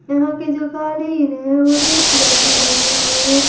यहाँ के जो कालीन है वो रेड कलर से रंगे हुए हैं।